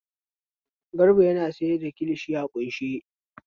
Garba yana sayar da kilishi a ƙunshe.